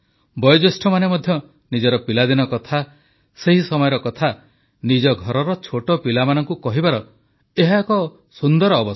ବୟୋଜ୍ୟେଷ୍ଠମାନେ ମଧ୍ୟ ନିଜର ପିଲାଦିନ କଥା ସେହି ସମୟର କଥା ନିଜ ଘରର ଛୋଟପିଲାମାନଙ୍କୁ କହିବାର ଏହା ଏକ ସୁନ୍ଦର ଅବସର